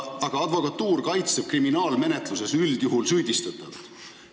Aga advokatuur kaitseb kriminaalmenetluses üldjuhul süüdistatavat.